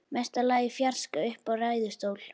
Mesta lagi í fjarska uppi í ræðustól.